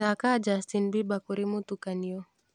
thaaka justin bieber kuri mũtukanio